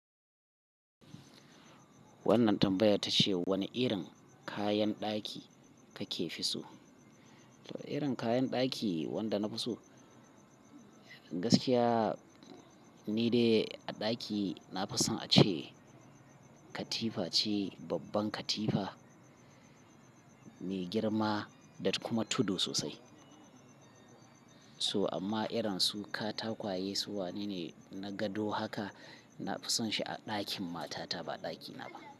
Wannan tambayar ta ce wane irin kayan ɗaki kake fi so? To irin kayan daki wanda na fi so gaskiya ni dai a daki na fi son a ce katifa ce, babban katifa ne, girma datt kuma tudu sosai. So amma irin su katakwaye su wane ne? Na gado haka, na fi son shi a ɗakin matata ba daki na ba.